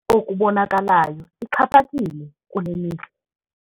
Okubonakalayo ixhaphakile kule mihla.